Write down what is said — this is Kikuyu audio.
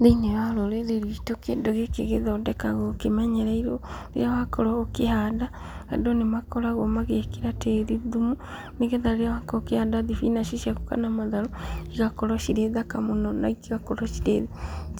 Thĩiniĩ wa rũrĩrĩ rwitũ ,kĩndũ gĩkĩ gĩthondekagwo kĩmenyereirwo, rĩrĩa wakorwo ũgĩkĩhanda, andũ nĩ makoragwo magĩkĩra tĩri thumu, nĩgetha rĩrĩa wakorwo ũkĩhanda thibinaci ciaku, kana matharũ , igakorwo cirĩ thaka mũno na igakorwo